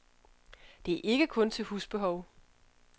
Det er ikke kun til husbehov.